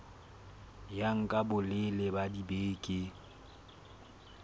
ya nka bolelele ba dibeke